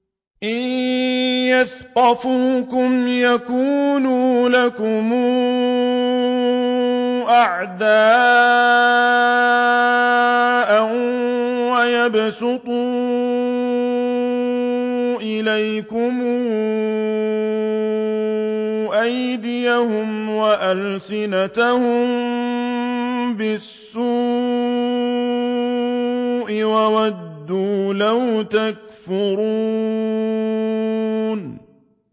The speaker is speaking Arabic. إِن يَثْقَفُوكُمْ يَكُونُوا لَكُمْ أَعْدَاءً وَيَبْسُطُوا إِلَيْكُمْ أَيْدِيَهُمْ وَأَلْسِنَتَهُم بِالسُّوءِ وَوَدُّوا لَوْ تَكْفُرُونَ